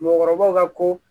Mɔgɔkɔrɔbaw ka ko